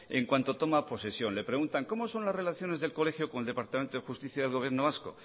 en cuanto toma posesión le preguntan cómo son las relaciones del colegio con el departamento de justicia del gobierno vasco